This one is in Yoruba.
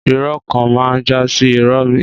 Ìrọ kàn mà ń jàsi ìró mi.